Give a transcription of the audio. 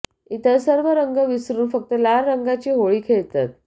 इतर सर्व रंग विसरून फक्त लाल रंगाची होळी खेळतात